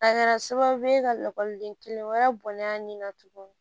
A kɛra sababu ye ka lakɔliden kelen wɛrɛ bɔnnen na tuguni